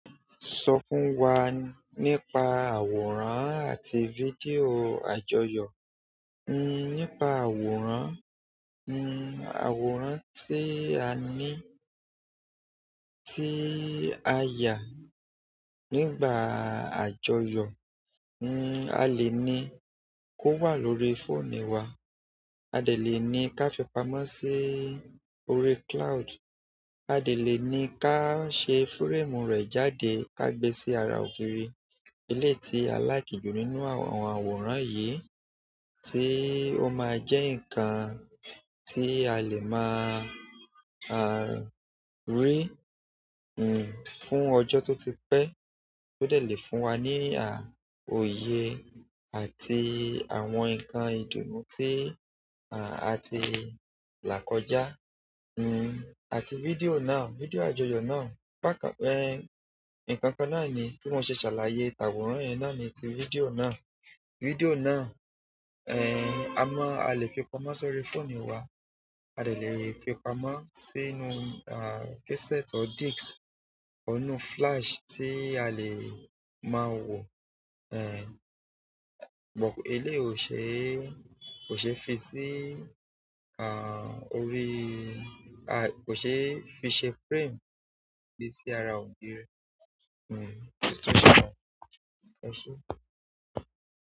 Sọ fún wa nípa àwòrán àti fídíò àjọyọ̀. Nípa àwòrán, àwòrán tí a ní, tí a yà nígbà àjọyọ̀, a lè ní kówà lórí fóònù wa, a lè ní ká fi pamọ́ sí orí cloud, a lè ní ká ṣe fúrẹ́ẹ̀mù rẹ̀ jáde ká gbé sí ara ògiri. Eleyi tí a like jù nínú àwọn àwòrán yìí tí ó máa jẹ́ nǹkan tí a lè máa rí fún ọjọ́ tó ti pẹ tó dẹ̀ lè fún wa ní òye àti àwọn nǹkan ìdùnnú tí a ti là kọjá. Àti fídíò náà, fídíò àjọyọ̀ náà, nnkankan náà ni tí mo ṣe ṣàlàyé tàwòrán yẹn náà ni ti fídíò náà. Fídíò náà, amọ́ a lè fi pamọ́ sórí fóònù wa, a lè fi pamọ́ sínú kesẹ́ẹ̀tì ọ́ díkìsì, inú flash tí a lè máa wò. Ẹ̀, but eleyi ò ṣe, kò ṣe fi sí, à, orí, kò ṣe fi ṣe fúrẹ́ẹ̀mù gbé sí ara ògiri.